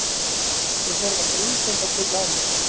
Þau horfa grunsemdarfull á mig.